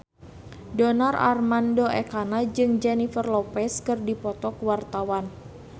Donar Armando Ekana jeung Jennifer Lopez keur dipoto ku wartawan